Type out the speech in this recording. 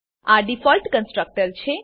આ default constructor છે